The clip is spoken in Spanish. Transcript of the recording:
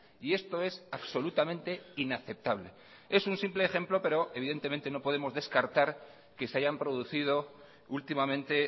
y esto es absolutamente inaceptable es un simple ejemplo pero evidentemente no podemos descartar que se hayan producido últimamente